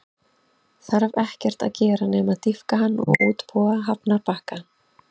Þarf ekkert að gera nema að dýpka hann og útbúa hafnarbakka.